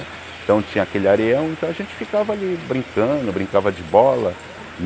Então tinha aquele areião, então a gente ficava ali brincando, brincava de bola.